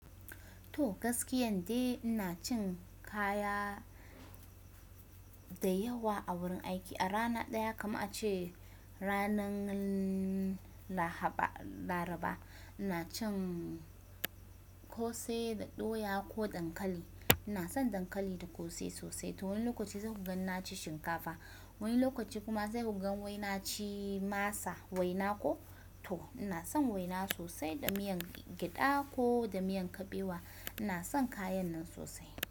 To gaskiyan de ina cin kaya da yawa a wurin aiki. A rana daya kama a ce ranan lahaba, Laraba ina cin kose da doya ko dankali. Ina son dankali da kose sosai. To wani lokaci zaku gan ni na ci shinkafa. Wani lokaci kuma zaku ga wai na ci masa, waina ko. To ina son waina sosai da miyan gyada ko da miyan kabewa. Ina son kayan nan sosai.